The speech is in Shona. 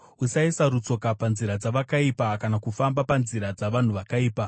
Usaisa rutsoka panzira dzavakaipa, kana kufamba panzira dzavanhu vakaipa.